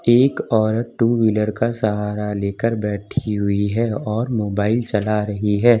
एक औरत two wheeler का सहारा लेकर बैठी हुई है और मोबाइल चला रही है।